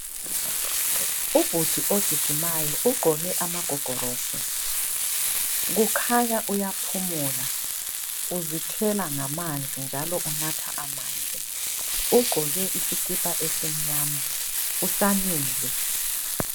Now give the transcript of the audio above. Ubhudi ogijimayo ,ugqoke amagogorosi .Kukhanya uyaphumula uzithela ngamanzi njalo unatha amanzi. Ugqoke isikipa esimnyama ,usamile.